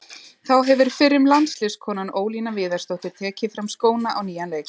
Þá hefur fyrrum landsliðskonan Ólína Viðarsdóttir tekið fram skóna á nýjan leik.